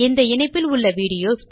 இந்த இணைப்பில் உள்ள வீடியோ காட்சிகளில்